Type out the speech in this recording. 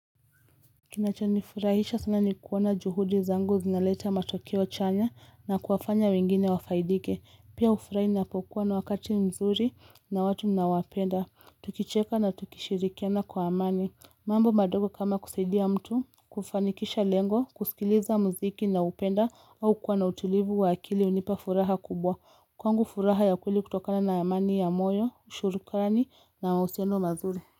Kinachanifurahisha sana ni kuona juhudi zangu zinaleta matokeo chanya na kuwafanya wengine wafaidike, pia ufurahi ninapokuwa na wakati mzuri na watu ninaowapenda tukicheka na tukishirikiana kwa amani mambo madogo kama kusaidia mtu kufanikisha lengo kusikiliza muziki na upenda au kuwa na utulivu wa akili hunipa furaha kubwa kwangu furaha ya kweli kutokana na amani ya moyo ushurukarani na uhusiano mazuri.